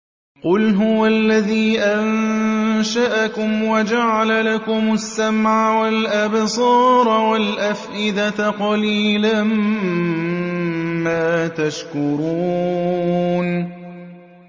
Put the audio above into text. قُلْ هُوَ الَّذِي أَنشَأَكُمْ وَجَعَلَ لَكُمُ السَّمْعَ وَالْأَبْصَارَ وَالْأَفْئِدَةَ ۖ قَلِيلًا مَّا تَشْكُرُونَ